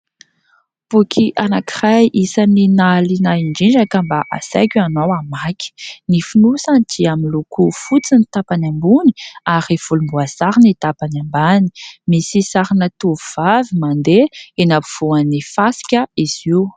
Boky anankiray isan'ny nahaliana ahy indrindra ka mba asaiko ianao hamaky. Ny fonosany dia miloko fotsy ny tapany ambony ary volomboasary ny tapany ambany. Misy sarina tovovavy mandeha eny afovoan'ny fasika izy io.